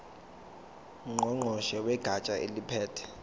ngqongqoshe wegatsha eliphethe